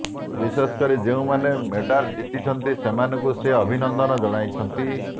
ବିଶେଷକରି ଯେଉଁମାନେ ମେଡାଲ ଜିତିଛନ୍ତି ସେମାନଙ୍କୁ ସେ ଅଭିନନ୍ଦନ ଜଣାଉଛନ୍ତି